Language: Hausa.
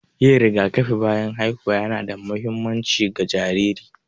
Yin rigakafi bayan haihuwa ƴana da muhimmanci ga jariri.